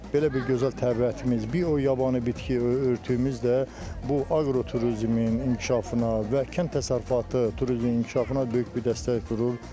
Belə bir gözəl təbiətimiz, biyo yabani bitki örtüyümüz də bu aqroturizmin inkişafına və kənd təsərrüfatı turizminin inkişafına böyük bir dəstək durur.